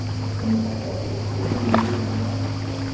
mokgwa o o rileng wa